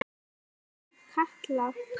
Er það Katla?